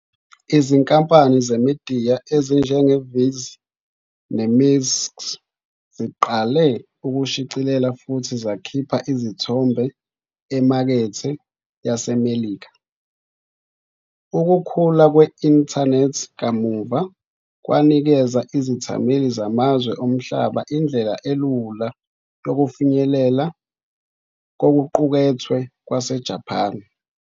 Izinkampani zemidiya ezinjengeViz neMixx ziqale ukushicilela futhi zakhipha izithombe emakethe yaseMelika. Ukukhula kwe-Intanethi kamuva kwanikeza izethameli zamazwe omhlaba indlela elula yokufinyelela kokuqukethwe kwaseJapan.